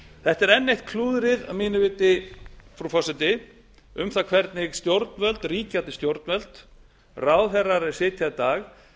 þetta er enn eitt klúðrið að mínu viti frú forseti um það hvernig ríkjandi stjórnvöld ráðherrar er sitja í dag